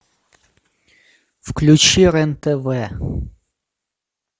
включи рен тв